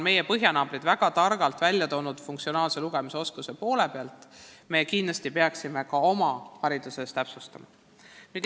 Meie põhjanaabrid on väga targalt välja toonud funktsionaalse lugemisoskuse tähtsuse ja meiegi peaksime seda oma hariduses toonitama.